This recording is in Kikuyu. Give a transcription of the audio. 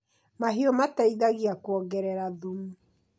Mahiũ mateithagia kuongerera thumu.